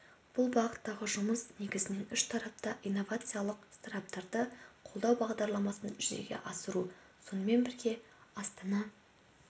бұл бағыттағы жұмыс негізінен үш тарапта инновациялық стартаптарды қолдау бағдарламасын жүзеге асыру сонымен бірге астана